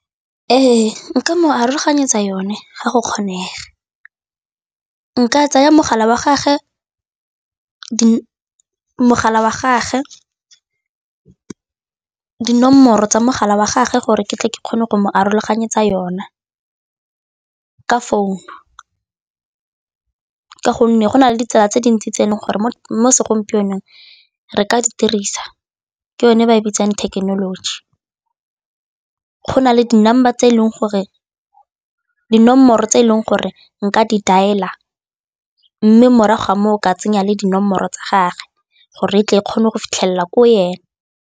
Ee, nka mo aroganyetsa yone ga go kgonega, nka tsaya dinomoro tsa mogala wa gage gore ke tle ke kgone go mo aroganyetsa yona ka founu ka gonne go na le ditsala tse dintsi tse e leng gore mo segompienong re ka di dirisa ke yone ba e bitsang thekenoloji. Go na le dinomoro tse e leng gore nka di dial-a mme morago ga moo o ka tsenya le dinomoro tsa gagwe gore tle e kgone go fitlhelela ko ene.